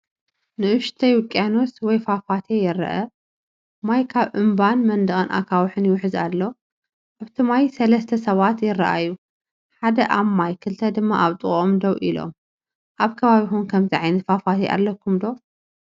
ንእሽቶይ ውቅያኖስ ወይ ፏፏቴ ይርአ። ማይ ካብ እምባን መንደቕ ኣኻውሕን ይውሕዝ ኣሎ። ኣብቲ ማይ ሰለስተ ሰባት ይረኣዩ - ሓደ ኣብ ማይ ክልተ ድማ ኣብ ጥቓኦም ደው ኢሎም። ኣብ ከባቢኹም ከምዚ ዓይነት ፏፏቴ ኣለኩም ዶ?